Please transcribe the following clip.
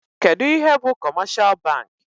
Kedụ ihe bụ kọmeshal bankị?